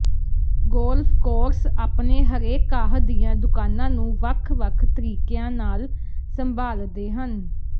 golf course ਆਪਣੇ ਹਰੇ ਘਾਹ ਦੀਆਂ ਦੁਕਾਨਾਂ ਨੂੰ ਵੱਖ ਵੱਖ ਤਰੀਕਿਆਂ ਨਾਲ ਸੰਭਾਲਦੇ ਹਨ